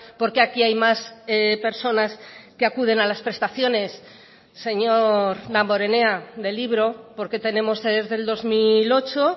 por qué aquí hay más personas que acuden a las prestaciones señor damborenea de libro porque tenemos desde el dos mil ocho